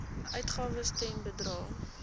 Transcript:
uitgawes ten bedrae